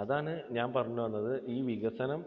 അതാണ് ഞാൻ പറഞ്ഞുവന്നത്. ഈ വികസനം